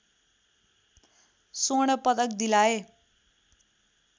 स्वर्ण पदक दिलाए